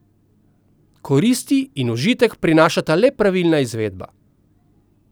Koristi in užitek prinaša le pravilna izvedba.